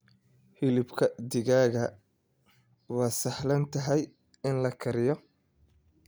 Hilibka digaaga waa sahlan tahay in la kariyo.